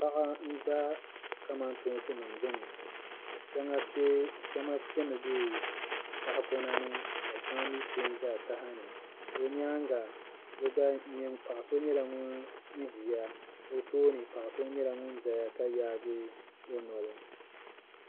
Paɣa n-za kamantoonsinima gbuni shɛŋa pemi be tahipɔnani ka shɛŋa mi pe n-za taha ni o nyaaŋa paɣa so nyɛla ŋun ʒiya o tooni paɣa so nyɛla ŋun zaya ka yaagi o noli